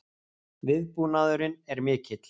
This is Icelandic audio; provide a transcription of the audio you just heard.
Viðbúnaðurinn er mikill